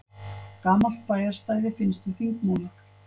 Gamalt bæjarstæði finnst við Þingmúla